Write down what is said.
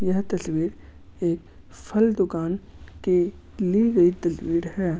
यह तस्वीर एक फल दुकान की ली गई तस्वीर है।